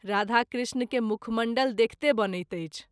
राधा कृष्ण के मुखमण्डल देखते बनैत अछि।